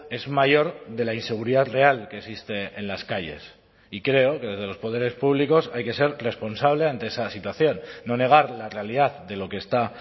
es mayor de la inseguridad real que existe en las calles y creo que desde los poderes públicos hay que ser responsable ante esa situación no negar la realidad de lo que está